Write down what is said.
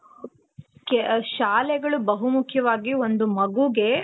ಶಾಲೆಗಳು ಬಹುಮುಖ್ಯವಾಗಿ ಒಂದು ಮಗುಗೆ